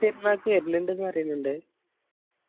പെരുന്നാക്ക് വര്ണ്ണിണ്ടെന്ന് പറയുന്നിണ്ടെ